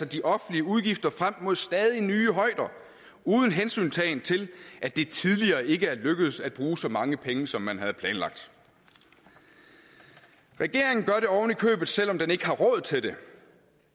de offentlige udgifter altså frem mod stadig nye højder uden hensyntagen til at det tidligere ikke er lykkedes at bruge så mange penge som man havde planlagt regeringen gør det ovenikøbet selv om den ikke har råd til det